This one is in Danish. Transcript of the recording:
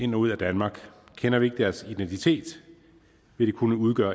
ind og ud af danmark kender vi ikke deres identitet vil de kunne udgøre